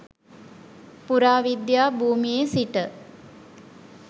පුරාවිද්‍යා භූමියේ සිට